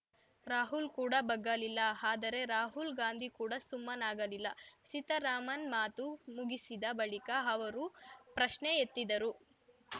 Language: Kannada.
ರಾಹುಲ್‌ ಕೂಡ ಬಗ್ಗಲಿಲ್ಲ ಆದರೆ ರಾಹುಲ್‌ ಗಾಂಧಿ ಕೂಡ ಸುಮ್ಮನಾಗಲಿಲ್ಲ ಸೀತಾರಾಮನ್‌ ಮಾತು ಮುಗಿಸಿದ ಬಳಿಕ ಅವರೂ ಪ್ರಶ್ನೆ ಎತ್ತಿದರು